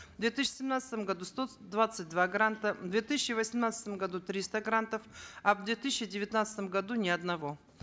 в две тысячи семнадцатом году сто двадцать два гранта в две тысячи восемнадцатом году триста грантов а в две тысячи девятнадцатом году ни одного